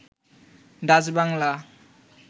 Dutch Bangla